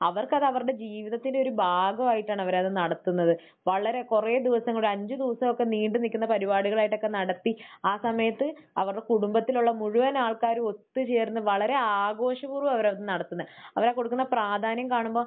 അവർക്കത് അവരുടെ ജീവിതത്തിന്റെ ഒരു ഭാഗമായിട്ടാണ് അവർ അത് നടത്തുന്നത്. വളരെ കുറെ ദിവസം ഒരു അഞ്ച് ദിവസമൊക്കെ നീണ്ട് നിൽക്കുന്ന പരിപാടികളായിട്ടൊക്കെ നടത്തി ആ സമയത്ത് അവരുടെ കുടുംബത്തിലുള്ള മുഴുവൻ ആൾക്കാരും ഒത്ത് ചേർന്ന് വളരെ ആഘോഷപൂർവം അവരത് നടത്തുന്നത്. അവർ ആ കൊടുക്കുന്ന പ്രാധാന്യം കാണുമ്പോൾ